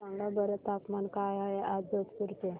सांगा बरं तापमान काय आहे आज जोधपुर चे